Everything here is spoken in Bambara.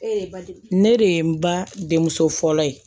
Ee ne de ye n ba denmuso fɔlɔ ye